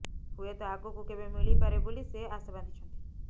ହୁଏତ ଆଗକୁ କେବେ ମିଳିପାରେ ବୋଲି ସେ ଆଶା ବାନ୍ଧିଛନ୍ତି